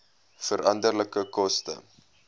veranderlike koste